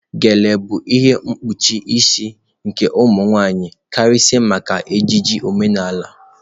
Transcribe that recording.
Gele bụ ihe mgbochi isi nke ụmụ nwaanyị karịsịa maka ejiji omenala.